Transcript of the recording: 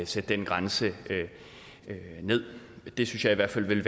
sætte den grænse ned det synes jeg i hvert fald ville